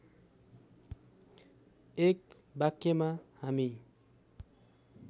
एक वाक्यमा हामी